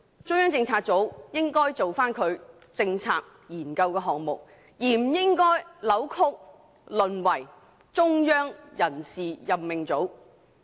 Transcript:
中央政策組應該專注於他們的政策研究項目，而不應該被扭曲，淪為"中央人事任命組"。